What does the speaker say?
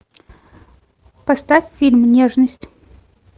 поставь фильм нежность